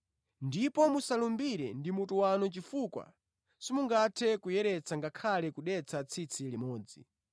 Ndipo musalumbire ndi mutu wanu chifukwa simungathe kuyeretsa ngakhale kudetsa tsitsi limodzi.